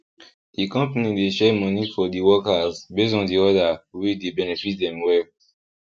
the company dey share money for di workers based on di order wey dey benefit dem well